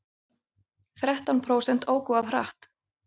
Þrettán prósent óku of hratt